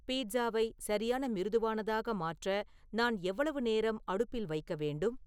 பீட்சாவை சரியான மிருதுவானதாக மாற்ற நான் எவ்வளவு நேரம் அடுப்பில் வைக்க வேண்டும்